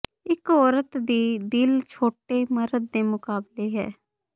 ਇਕ ਔਰਤ ਦੀ ਦਿਲ ਛੋਟੇ ਮਰਦ ਦੇ ਮੁਕਾਬਲੇ ਹੈ